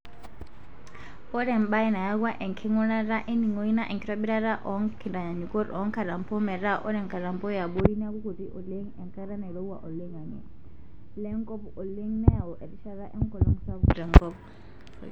Ore embae nayawua enkingurata eningoi naa enkitobirata oo nkitanyaanyukot oonkatampo metaa ore nkatampo yabori neaku kuti oleng enkata nairowua oloingange lenkop oleng neyau erishat enkolong sapuk tenkop.